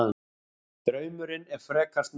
Draumurinn er frekar snúinn.